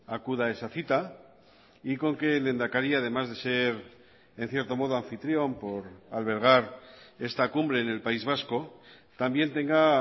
acuda a esa cita y con que el lehendakari además de ser en cierto modo anfitrión por albergar esta cumbre en el país vasco también tenga